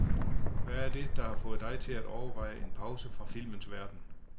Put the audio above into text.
Hvad er det, der har fået dig til at overveje en pause fra filmens verden?